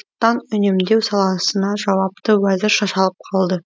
ұлттан үнемдеу саласына жауапты уәзір шашалып қалды